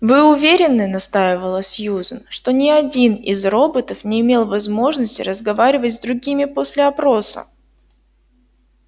вы уверены настаивала сьюзен что ни один из роботов не имел возможности разговаривать с другими после опроса